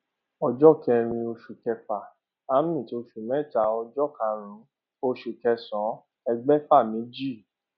ọjọ kẹrin oṣù kẹfà oṣù mẹta ọjọ karùnún oṣù kẹsànán ẹgbèfà méjì